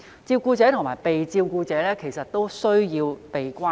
照顧者和被照顧者其實都需要被關顧。